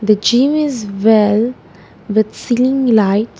The gym is well with ceiling light.